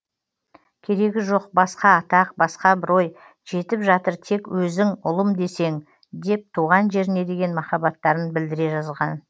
керегі жоқ басқа атақ басқа абырой жетіп жатыр тек өзің ұлым десең деп туған жеріне деген махаббаттарын білдіре жазған